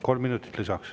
Kolm minutit lisaks.